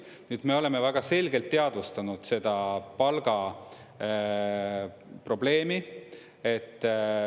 Nüüd, me oleme väga selgelt teadvustanud seda palgaprobleemi.